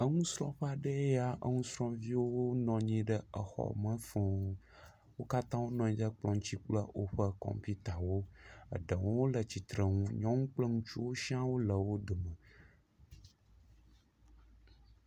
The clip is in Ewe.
Nusrɔ̃ƒe aɖea ya nusrɔ̃viwo nɔ anyi ɖe xɔme fũu, wo katã wonɔ anyi ɖe kplɔ̃ ŋuti kple woƒe kɔmpitawo. Eɖewo le tsitre nu, nyɔnuwo kple ŋutsuwo siã wole wo dome.